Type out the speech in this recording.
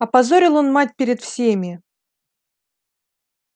опозорил он мать перед всеми